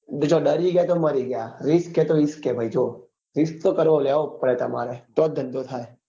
જો ડરી ગયા તો મારી ગયા risk હૈ તો ઇશ્ક હૈ ભાઈ જો risk તો લેવો જ પડે તમારે તો ધંધો થાય